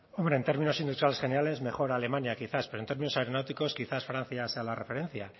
hombre en términos industriales generales mejor alemania quizás pero en términos aeronáuticos quizás francia sea la referencia